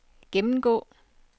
gennemgå